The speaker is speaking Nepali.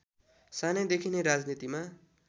सानैदेखि नै राजनीतिमा